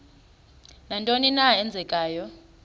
nantoni na eenzekayo